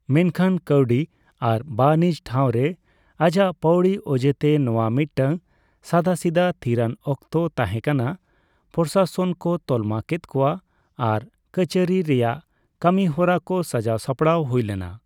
ᱢᱮᱱᱠᱷᱟᱱ ᱠᱟᱹᱣᱰᱤ ᱟᱨ ᱵᱟ.ᱱᱤᱡᱽ ᱴᱷᱟᱣᱨᱮ ᱟᱡᱟᱜ ᱯᱟᱣᱲᱤ ᱚᱡᱮᱛᱮ, ᱱᱚᱣᱟ ᱢᱤᱫᱴᱟᱝ ᱥᱟᱫᱟᱥᱤᱫᱟᱹ ᱛᱷᱤᱨᱟᱱ ᱚᱠᱛᱚ ᱛᱟᱦᱮᱸ ᱠᱟᱱᱟ; ᱯᱨᱚᱥᱟᱥᱚᱱ ᱠᱚ ᱛᱟᱞᱢᱟ ᱠᱮᱫ ᱠᱚᱣᱟ ᱟᱨ ᱠᱟᱹᱪᱷᱟᱨᱤ ᱨᱮᱭᱟᱜ ᱠᱟᱹᱢᱤᱦᱚᱨᱟ ᱠᱚ ᱥᱟᱡᱟᱣ ᱥᱟᱯᱲᱟᱣ ᱦᱩᱭᱞᱮᱱᱟ ᱾